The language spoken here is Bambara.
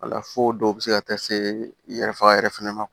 Wala fo dɔw bɛ se ka taa se yɛrɛ faga yɛrɛ fɛnɛ ma